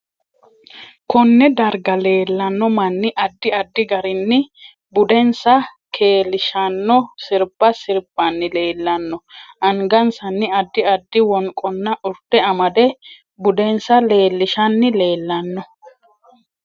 KOnne darga leelanno manni addi addi garinni budensa keelishanno sirbba sirbanni leelanno angasanni addi addi wonqonna urde amade budensa leelishani leelanno